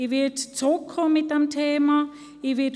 Ich werde mit dem Thema wiederkommen.